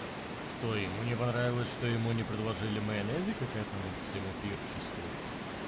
и что ему не понравилось что ему не предложили майонезик как этому всему пиршеству